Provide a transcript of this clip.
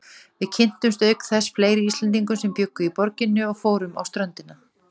Við kynntumst auk þess fleiri Íslendingum sem bjuggu í borginni og fórum á ströndina.